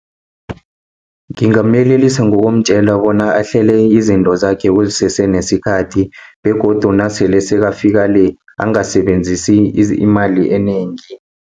Ngingamyelelisa ngokumtjela bona ahlele izinto zakhe kusese nesikhathi begodu nasele sekafika le angasebenzisi imali enengi.